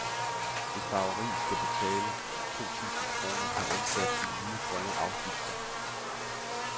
Et farveri skal betale to to tusind kroner per ansat i nye grønne afgifter.